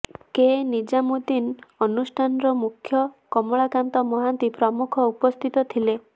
କେ ନିଜାମୁଦ୍ଦିନ୍ ଅନୁଷ୍ଠାନର ମୁଖ୍ୟ କମଳାକାନ୍ତ ମହାନ୍ତି ପ୍ରମୁଖ ଉପସ୍ଥିତ ଥିଲେ